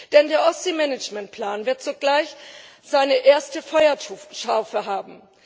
Denn der Ostseemanagementplan wird sogleich seine erste Feuertaufe haben.